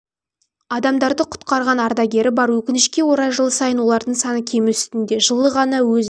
адамдарды құтқарған ардагері бар өкінішке орай жыл сайын олардың саны кему үстінде жылы ғана өз